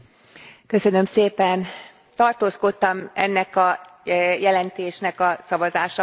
Tartózkodtam ennek a jelentésnek a szavazásakor, a következő okból.